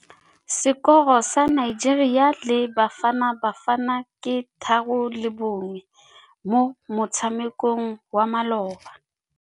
Sekôrô sa Nigeria le Bafanabafana ke 3-1 mo motshamekong wa malôba.